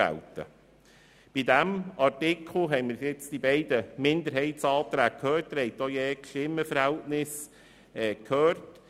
Zu diesem Artikel haben wir nun die Referenten zu den beiden Minderheitsanträge gehört und die Stimmenverhältnisse erfahren.